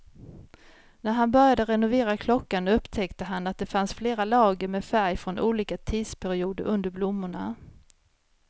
När han började renovera klockan upptäckte han att det fanns flera lager med färg från olika tidsperioder under blommorna.